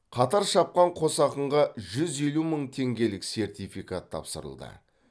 қатар шапқан қос ақынға жүз елу мың теңгелік сертификат тапсырылды